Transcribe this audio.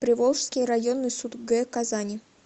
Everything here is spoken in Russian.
приволжский районный суд г казани